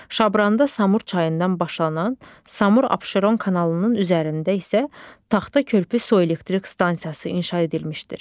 Şabranda Samur çayından başlanan, Samur-Abşeron kanalının üzərində isə Taxta Körpü su elektrik stansiyası inşa edilmişdir.